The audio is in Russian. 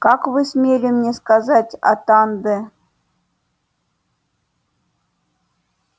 как вы смели мне сказать атанде